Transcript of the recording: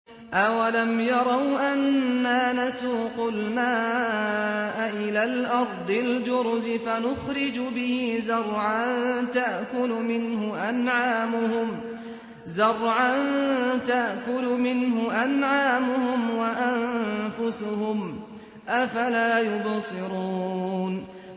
أَوَلَمْ يَرَوْا أَنَّا نَسُوقُ الْمَاءَ إِلَى الْأَرْضِ الْجُرُزِ فَنُخْرِجُ بِهِ زَرْعًا تَأْكُلُ مِنْهُ أَنْعَامُهُمْ وَأَنفُسُهُمْ ۖ أَفَلَا يُبْصِرُونَ